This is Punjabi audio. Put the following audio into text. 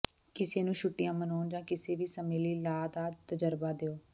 ਕਿਸੇ ਨੂੰ ਛੁੱਟੀਆਂ ਮਨਾਉਣ ਜਾਂ ਕਿਸੇ ਵੀ ਸਮੇਂ ਲਈ ਲਾਅ ਦਾ ਤਜਰਬਾ ਦਿਓ